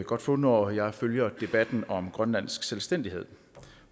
godt få når jeg følger debatten om grønlandsk selvstændighed